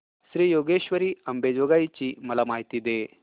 श्री योगेश्वरी अंबेजोगाई ची मला माहिती दे